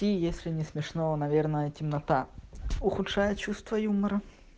ну если не смешного наверное темнота ухудшает чувство юмора